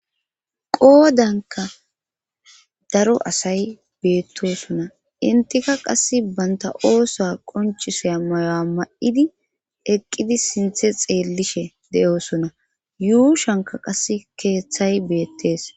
Qoodanka daro asay beettosona intika qass banta oosa qonchisea mayo7a ma7idi eqqidi sinthe xeellishe de7osona yuushanka qase keeththay beettees